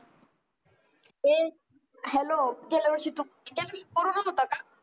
ए hello गेल्या वर्षी होता का